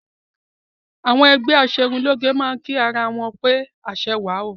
Àwọn ẹgbẹ́ aṣerunlóge a máa kí ara wọn pé aṣẹwà o